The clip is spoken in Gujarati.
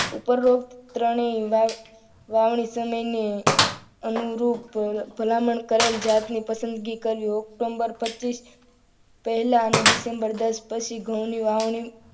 ઉપરોક્ત ત્રણેય વાવણી સમયની અનુરૂપ ભલામણ કરેલ જાતનું પસંદગી કર્યું ઓક્ટોબર પચીસ પહેલા અને ડિસેમ્બર દસ પછી ઘઉંની વાવણી